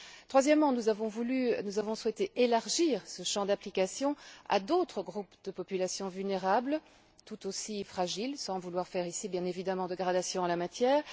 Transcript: Troisièmement, nous avons souhaité élargir ce champ d'application à d'autres groupes de populations vulnérables, tout aussi fragiles, sans vouloir faire ici, bien évidemment, de gradation en la matière.